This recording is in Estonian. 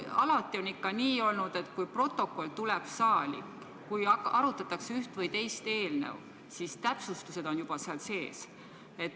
Alati on olnud ikka nii, et kui protokoll tuleb ühe või teise eelnõu arutamise ajaks saali, siis on seal täpsustused juba sees.